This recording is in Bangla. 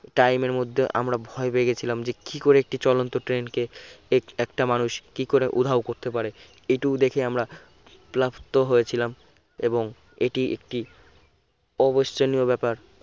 time এর মধ্যে আমরা ভয় পেয়ে গিয়েছিলাম যে কি করে একটি চলন্ত train কে এক একটা মানুষ কি করে উধাও করতে পারে একটু দেখে আমরা প্ল্যাপ্ত হয়ে ছিলাম এবং এটি একটি অবিস্মরণীয় ব্যাপার